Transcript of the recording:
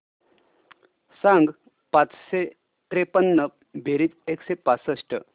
सांग पाचशे त्रेपन्न बेरीज एकशे पासष्ट